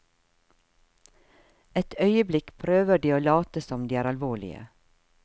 Et øyeblikk prøver de å late som de er alvorlige.